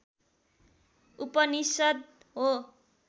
उपनिषद् हो